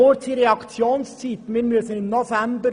Die Reaktionszeit ist sehr kurz: